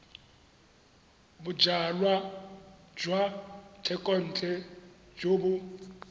bojalwa jwa thekontle jo bo